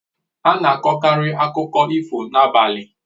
Ana akọkari akụkọ ifo n'abalị